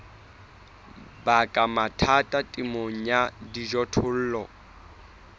baka mathata temong ya dijothollo